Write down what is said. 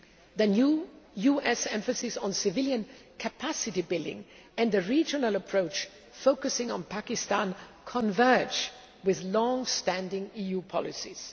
The new US emphasis on civilian capacity building and the regional approach focusing on Pakistan converge with longstanding EU policies.